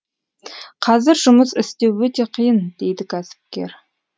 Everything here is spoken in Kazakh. қазір жұмыс істеу өте қиын дейді кәсіпкер